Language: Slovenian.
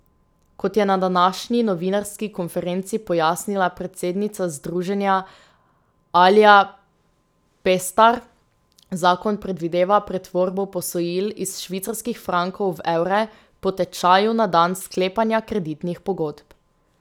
Kot je na današnji novinarski konferenci pojasnila predsednica združenja Alja Pestar, zakon predvideva pretvorbo posojil iz švicarskih frankov v evre po tečaju na dan sklepanja kreditnih pogodb.